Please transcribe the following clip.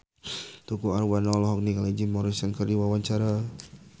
Tukul Arwana olohok ningali Jim Morrison keur diwawancara